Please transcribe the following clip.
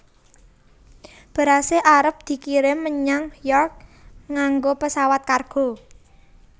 Berase arep dikirim menyang York nganggo pesawat kargo